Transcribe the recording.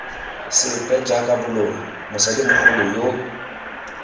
sepe jaaka boloi mosadimogolo yoo